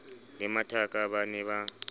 le mathaka ba ne ba